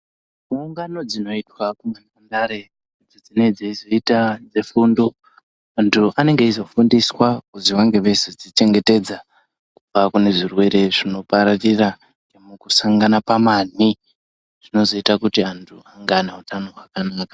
Gungano dzinoitwa kunhandare idzo dzinenge dzeizoita dzefundo antu anenge eizofundiswa kuzi vange veizodzichengetedza kubva kune zvirwere zvinopararira nemukusangana pamanhi zvinozoita kuti anhu ange ane utano hwakanaka.